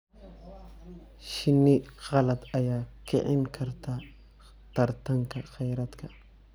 Shinni qalaad ayaa kicin karta tartanka kheyraadka.